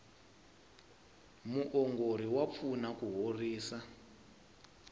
muongori wa pfuna ku horisa